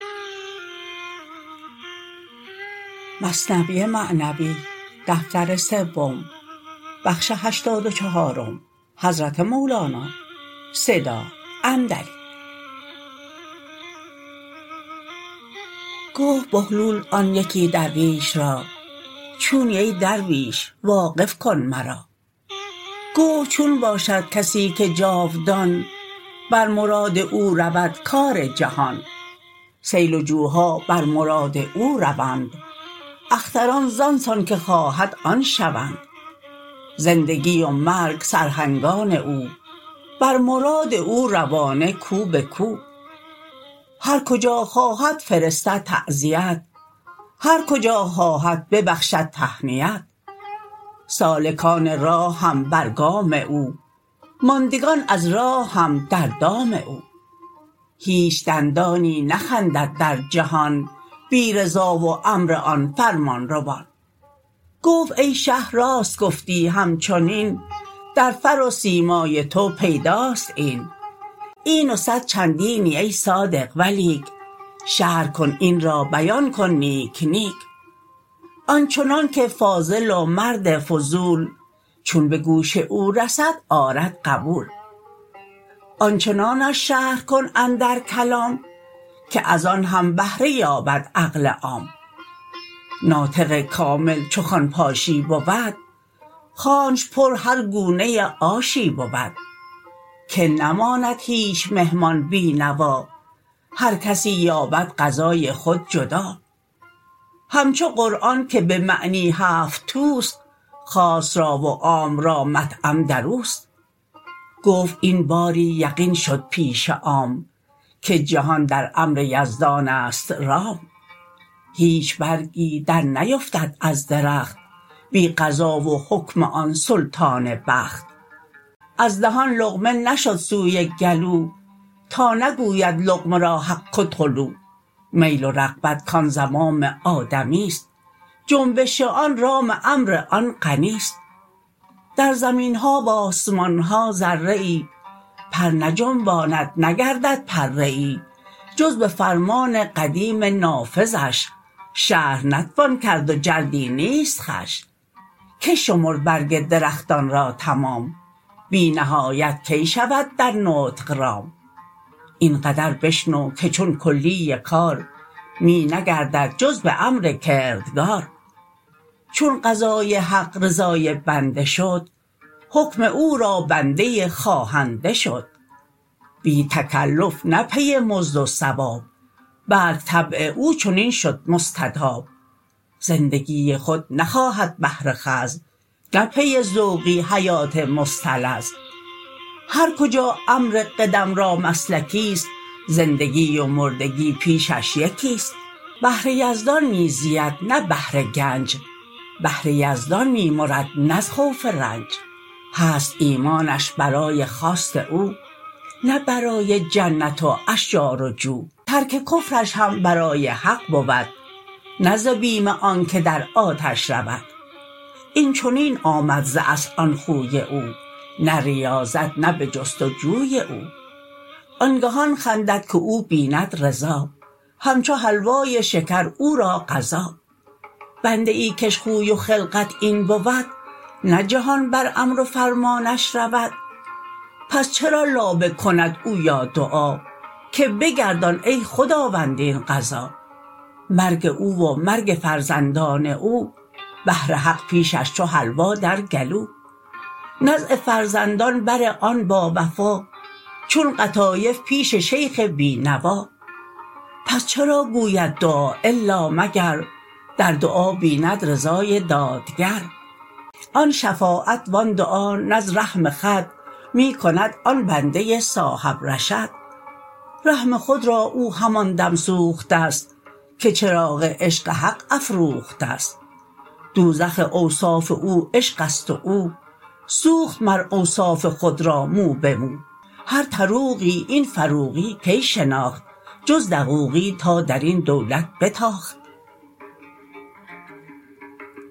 گفت بهلول آن یکی درویش را چونی ای درویش واقف کن مرا گفت چون باشد کسی که جاودان بر مراد او رود کار جهان سیل و جوها بر مراد او روند اختران زان سان که خواهد آن شوند زندگی و مرگ سرهنگان او بر مراد او روانه کو به کو هر کجا خواهد فرستد تعزیت هر کجا خواهد ببخشد تهنیت سالکان راه هم بر گام او ماندگان از راه هم در دام او هیچ دندانی نخندد در جهان بی رضا و امر آن فرمان روان گفت ای شه راست گفتی همچنین در فر و سیمای تو پیداست این این و صد چندینی ای صادق ولیک شرح کن این را بیان کن نیک نیک آنچنان که فاضل و مرد فضول چون به گوش او رسد آرد قبول آنچنانش شرح کن اندر کلام که از آن هم بهره یابد عقل عام ناطق کامل چو خوان پاشی بود خوانش بر هر گونه آشی بود که نماند هیچ مهمان بی نوا هر کسی یابد غذای خود جدا همچو قرآن که به معنی هفت توست خاص را و عام را مطعم دروست گفت این باری یقین شد پیش عام که جهان در امر یزدان است رام هیچ برگی در نیفتد از درخت بی قضا و حکم آن سلطان بخت از دهان لقمه نشد سوی گلو تا نگوید لقمه را حق که ادخلوا میل و رغبت کان زمام آدمی ست جنبش آن رام امر آن غنی ست در زمین ها و آسمان ها ذره ای پر نجنباند نگردد پره ای جز به فرمان قدیم نافذش شرح نتوان کرد و جلدی نیست خوش کی شمرد برگ درختان را تمام بی نهایت کی شود در نطق رام این قدر بشنو که چون کلی کار می نگردد جز به امر کردگار چون قضای حق رضای بنده شد حکم او را بنده خواهنده شد بی تکلف نه پی مزد و ثواب بلک طبع او چنین شد مستطاب زندگی خود نخواهد بهر خوذ نه پی ذوقی حیات مستلذ هرکجا امر قدم را مسلکی ست زندگی و مردگی پیشش یکی ست بهر یزدان می زید نه بهر گنج بهر یزدان می مرد نه از خوف رنج هست ایمانش برای خواست او نه برای جنت و اشجار و جو ترک کفرش هم برای حق بود نه ز بیم آنکه در آتش رود این چنین آمد ز اصل آن خوی او نه ریاضت نه به جست و جوی او آنگهان خندد که او بیند رضا همچو حلوای شکر او را قضا بنده ای کش خوی و خلقت این بود نه جهان بر امر و فرمانش رود پس چرا لابه کند او یا دعا که بگردان ای خداوند این قضا مرگ او و مرگ فرزندان او بهر حق پیشش چو حلوا در گلو نزع فرزندان بر آن باوفا چون قطایف پیش شیخ بی نوا پس چرا گوید دعا الا مگر در دعا بیند رضای دادگر آن شفاعت و آن دعا نه از رحم خود می کند آن بنده صاحب رشد رحم خود را او همان دم سوخته ست که چراغ عشق حق افروخته ست دوزخ اوصاف او عشقست و او سوخت مر اوصاف خود را مو به مو هر طروقی این فروقی کی شناخت جز دقوقی تا درین دولت بتاخت